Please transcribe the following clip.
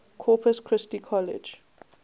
corpus christi college